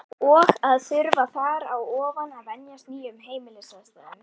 Og að þurfa þar á ofan að venjast nýjum heimilisaðstæðum.